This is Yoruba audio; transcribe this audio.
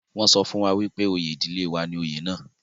wọ́n sọ fún wípé oyè ìdílé wa ni oyè náà